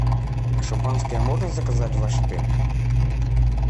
шампанское можно заказать в ваш отель